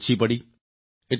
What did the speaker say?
આ રકમ ઓછી પડી